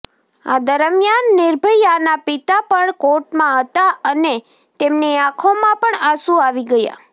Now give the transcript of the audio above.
આ દરમિયાન નિર્ભયાના પિતા પણ કોર્ટમાં હતા અને તેમની આંખોમાં પણ આંસુ આવી ગયા